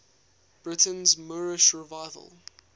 britain's moorish revival